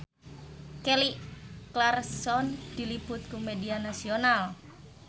Kelly Clarkson diliput ku media nasional